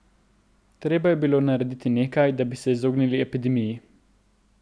Treba je bilo narediti nekaj, da bi se izognili epidemiji.